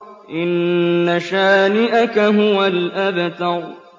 إِنَّ شَانِئَكَ هُوَ الْأَبْتَرُ